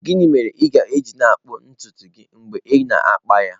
Gịnị mere ị ga-eji na-akpụ ntutu gị mgbe ị na-akpa ha?